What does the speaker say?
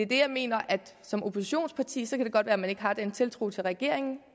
jeg mener at som oppositionsparti kan det godt være at man ikke har den tiltro til regeringen